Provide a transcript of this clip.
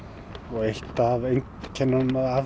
eitt af einkennunum af